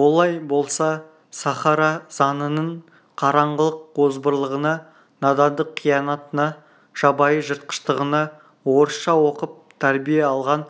олай болса сахара заңының қараңғылық озбырлығына надандық қиянатына жабайы жыртқыштығына орысша оқып тәрбие алған